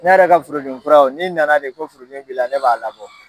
Ne yɛrɛ ka furudimi furaw n'i na na de ko furudimi b'i la ne b'a labɔ.